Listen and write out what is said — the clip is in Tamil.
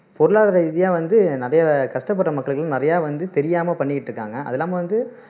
பொருளாதார ரீதியா வந்து நிறைய கஷ்டப்படுற மக்களுக்கு வந்து நிறைய வந்து தெரியாம பண்ணிட்டு இருக்காங்க அது இல்லாம வந்து